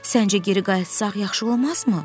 Səncə geri qayıtsaq yaxşı olmazmı?